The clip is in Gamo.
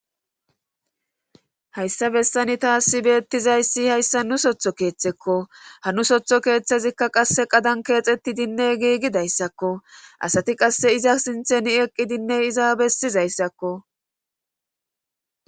hayssa bessani taasi beettizayssi hayssa nu sotho keeththekko ha nu sotho keeththezikka qasse qadan keexetti dinne giigidayssakko asati qasse iza sintheni eqqidinne iza bessizayssakko